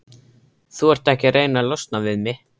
Þú ert ekki að reyna að losna við mig?